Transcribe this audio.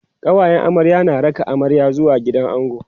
kawayen amarya na raka amarya zuwa gidan ango